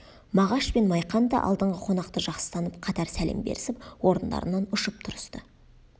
мағаш пен майқан да алдыңғы қонақты жақсы танып қатар сәлем берісіп орындарынан ұшып тұрысты